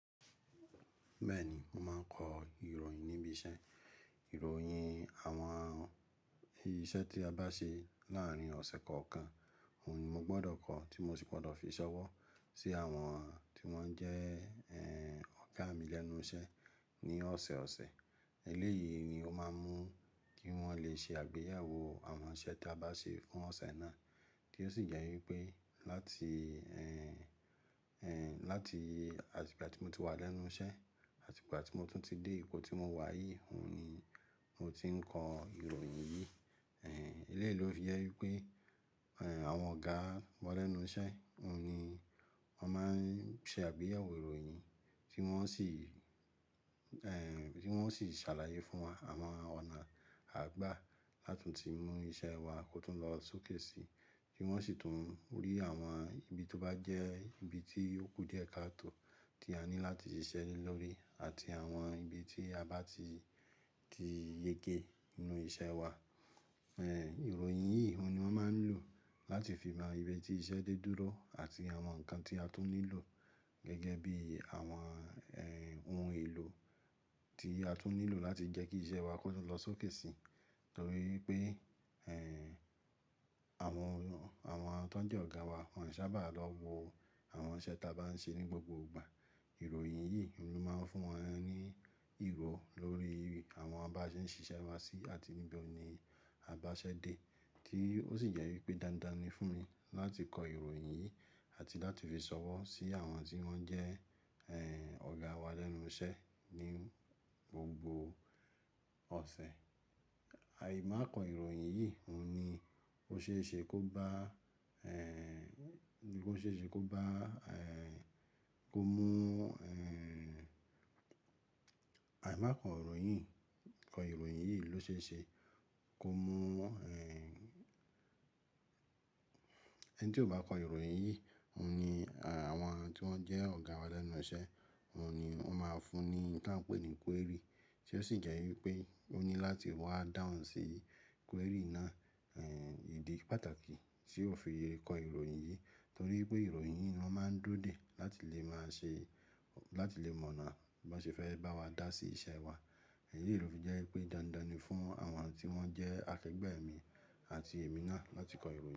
Bẹ́ẹ̀ ni, mo máa ń kọ ìròyìn níbi iṣẹ́. Ìròyìn àwọn iṣẹ́ tí a bá ṣe láàárín ọ̀sẹ̀ kọ̀ọ̀kan, òun ni mo gbọ́dọ̀ kọ tí mo sì gbọ́dọ̀ fi ṣọwọ́ sí àwọn tí wọ́n jẹ́, ẹ́, ọ̀gá mi lẹ́nu iṣẹ́ ní ọ̀sẹ̀ ọ̀sẹ̀. Eléyìí ni ó máa ń mú kí wọ́n lè ṣe àgbéyẹ̀wò àwọn iṣẹ́ tí a bá ṣe fún ọ̀sẹ̀ náà tí ó sì jẹ́ wípé láti, ẹ́, ẹ́, láti àtìgbà tí mo ti wà lẹ́nu iṣẹ́ àtìgbà tí mo tún ti dé ipò tí mo wà yìí, òun ni mo ti ń kọ ìròyìn yìí. Ẹ̀, eléyìí ló fi jẹ́ wípé, ẹ́, àwọn ọ̀gá wá lẹ́nu iṣẹ́, òun ni wọ́n máa ń ṣe àgbéyẹ̀wò ìròyìn tí wọ́n sì, ẹ́, tí wọ́n sì ṣàlàyé fún wa àwọn ọ̀nà àgbà látunti mú iṣẹ́ wa kó tó lọ sókèsì tí wọ́n sì tún rí àwọn ibi tó bá jẹ́ ibi tí ó kú díẹ̀ káa tó tí a ní láti ṣiṣẹ́ lórí àti àwọn ibi tí a bá ti, ti yẹké nínú iṣẹ́ wa. Ẹ̀, ìròyìn yìí òun ni wọ́n máa ń lò láti fi mọ ibi tí iṣẹ́ dé dúró àti àwọn nǹkan tí a tún nílò gẹ́gẹ́ bí àwọn, ẹ́, ohun èlò tí a tún nílò láti jẹ́ kí iṣẹ́ wa kó tó lọ sókèsì. Nítorí pé, ẹ́, àwọn, àwọn tó jẹ́ ọ̀gá wa wọn ò sábà lọ wo àwọn iṣẹ́ tí a bá ń ṣe ní gbogbo ìgbà. Ìròyìn yìí òun ni ó máa ń fún wọn ní ìro lórí àwọn bá ṣe ń ṣiṣẹ́ wa sí àti níbò ní a bá ṣe dé tí ó sì jẹ́ wípé dándán ni fún mi láti kọ ìròyìn yìí àti láti fi ṣọwọ́ sí àwọn tí wọ́n jẹ́, ẹ́, ọ̀gá wa lẹ́nu iṣẹ́ ní gbogbo ọ̀sẹ̀. Áì má kọ ìròyìn yìí òun ni ó ṣe é ṣe kó bá, ẹ́, kó ṣe é ṣe kó bá, ẹ́, kó mú, ẹ́, àì má kọ ìròyìn, kọ ìròyìn yìí ló ṣe é ṣe kó mú, ẹ́, ẹni tí ò bá kọ ìròyìn yìí òun ni àwọn tí wọ́n jẹ́ ọ̀gá wa lẹ́nu iṣẹ́ òun ni wọ́n máa fún ní nǹkan pé ni query tí ó sì jẹ́ wípé ó ní láti wá dáhùn sí query náà. Ẹ̀, ìdí pàtàkì tí ó fi yẹ kọ ìròyìn yìí torí pé ìròyìn yìí ló máa ń dúró dè láti lè má ṣe, láti lè mọ̀ náà bá ṣe fẹ́ bá wa dá sí iṣẹ́ wa. Eléyìí ló fi jẹ́ wípé dándán ni fún àwọn tí wọ́n jẹ́ akẹgbẹ́ mi àti èmi náà láti kọ ìròyìn.